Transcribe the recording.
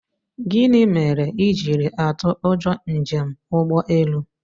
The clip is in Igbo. Gịnị mere i jiri atụ ụjọ njem ụgbọelu?